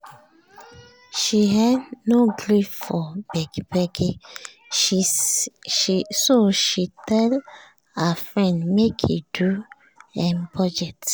she um no gree for begi begi so she tell her friend make e do um budget